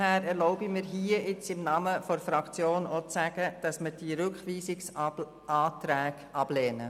Deshalb erlaube ich mir im Namen der Fraktion zu sagen, dass wir diese Rückweisungsanträge ablehnen.